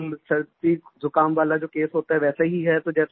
normal सर्दीजुकाम वाला जो केस होता है वैसा ही है